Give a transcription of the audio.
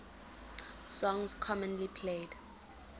songs commonly played